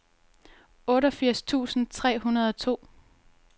otteogfirs tusind tre hundrede og to